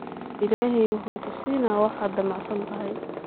Illahey muxuu kusinax waxad dhamac santhy.